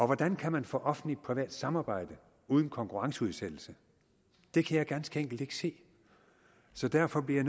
hvordan kan man få offentlig privat samarbejde uden konkurrenceudsættelse det kan jeg ganske enkelt ikke se så derfor bliver